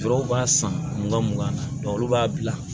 Dɔw b'a san mugan mugan na olu b'a bila